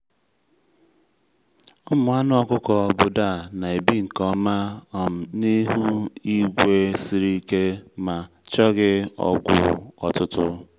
ụmụ anụ ọkụkọ obodo a na-ebi nke ọma um n’ihu igwe siri ike ma chọghị ọgwụ ọtụtụ.